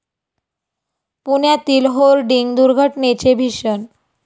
पुण्यातील होर्डिंग दुर्घटनेचे भीषण